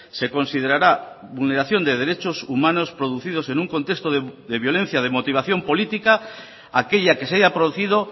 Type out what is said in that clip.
se considerará vulneración de derechos humanos producidos en un contexto de violencia de motivación política aquella que se haya producido